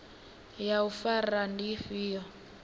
ya u fara ndi ifhio